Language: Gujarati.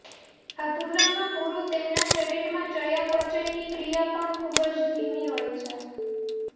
અધૂરામાં પૂરું તેમના શરીરમાં ચયાપચયની ક્રિયા પણ ખૂબ જ ધીમી હોય છે